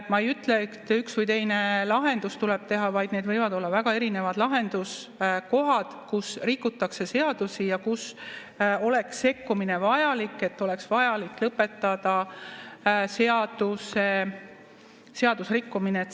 Ma ei ütle, et üks või teine lahendus tuleb teha, vaid need võivad olla väga erinevad lahenduskohad, kus rikutakse seadusi ja kus oleks sekkumine vajalik, oleks vajalik lõpetada seadusrikkumine.